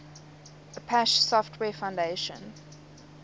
apache software foundation